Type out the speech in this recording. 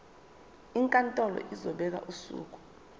inkantolo izobeka usuku